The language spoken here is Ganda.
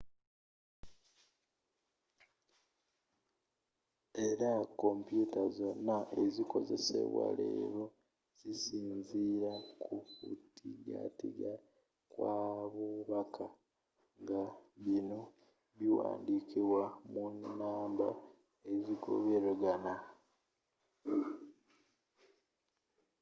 era kompyuta zonna ezikozesebwa leero zisinziira kukutigatiga kwa bubaka nga bino biwandikibwa mu namba ezigoberegana